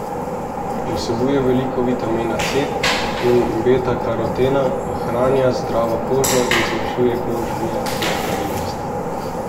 Vsebuje veliko vitamina C in betakarotena, ohranja zdravo kožo in zmanjšuje kožne nepravilnosti.